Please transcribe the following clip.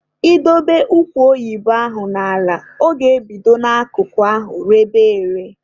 I dobe ụkwa oyibo ahụ n'ala, ọ bido n'akụkụ ahụ rebe ere.